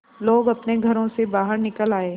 लोग अपने घरों से बाहर निकल आए